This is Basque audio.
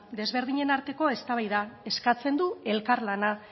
desberdinen arteko eztabaida eskatzen du elkarlana